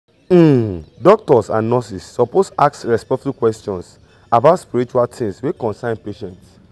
um doctors and nurses suppose ask respectful questions about spiritual things wey concern patient.